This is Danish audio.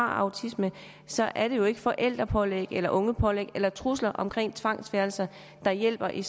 autisme så er det jo ikke forældrepålæg eller ungepålæg eller trusler om tvangsfjernelse der hjælper i